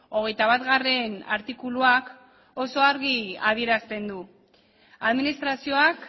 hogeita batgarrena artikuluak oso argi adierazten du administrazioak